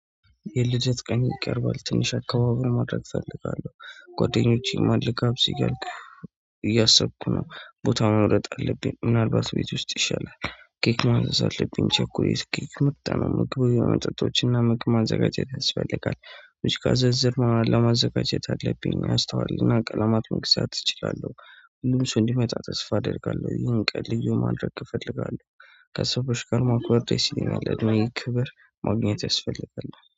የልደት ቀኔ ይቀርባል ትንሽ አካባበር ማድረግ እፈልጋለሁ ጓደኞቼማ ልጋብዝህ እያሉ እያሰብኩ ነው። ቦታ መምረጥ አለብኝ ምናልባት ቤት ውስጥ ይሻላል። ኬክ ማዘዝ አለብኝ ቸኮሌት ኬክ ምርጥ ነው ምርጥ መጠጦችና ምግብ ማዘጋጀት ያስፈልጋል። እስካዘዘመህ ለማዘጋጀት አለብኝ ማስተዋልና ቀለማት መግዛት እችላለሁ። ሁሉም ሰው እንዲመጣ ተስፋ አደርጋለሁ ይሄን ቀን ልዩ ማድረግ እፈልጋለሁ። ከሰዎች ጋር ማክበር ደስ ይለኛል እድሜ ክብር ማግኘት ያስፈልጋል